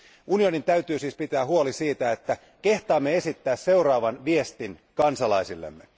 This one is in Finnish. Unionin täytyy siis pitää huoli siitä, että kehtaamme esittää seuraavan viestin kansalaisillemme.